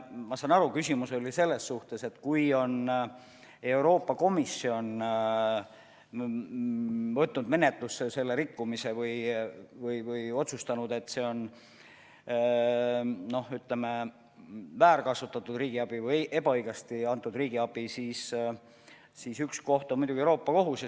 Ma saan aru nii, et küsimus oli selle kohta, et kui Euroopa Komisjon on võtnud rikkumise menetlusse või otsustanud, et tegemist on väärkasutatud riigiabiga või ebaõigesti antud riigiabiga, siis üks koht on muidugi Euroopa Kohus.